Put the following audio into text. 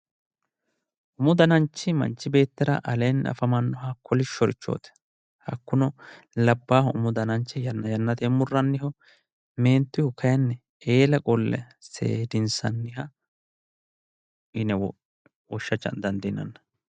umu dananchi manchi beettira aleenni afamannoho kolishshorichooti labbahu umu dananchi yanna yannatenni murranniho meentuyihu kayinni eela qolle seedinsanniho yine woshsha dandiinanni.